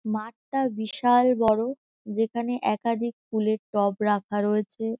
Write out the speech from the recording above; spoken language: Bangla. মাঠটা বিশাল বড় যেখানে একাধিক ফুলের টব রাখা রয়েছে।